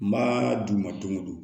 N b'a d'u ma don o don